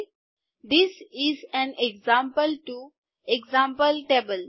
this is an example to example table